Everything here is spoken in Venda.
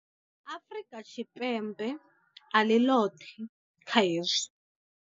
Afrika Tshipembe a ḽi ḽoṱhe kha hezwi.